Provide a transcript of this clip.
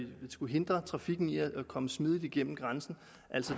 skulle hindre trafikken i at komme smidigt igennem grænsen